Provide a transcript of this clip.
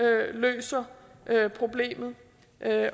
løser problemet